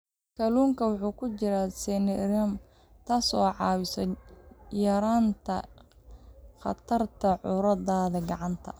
Kalluunka waxaa ku jira selenium, taas oo ka caawisa yaraynta khatarta cudurada gacanta.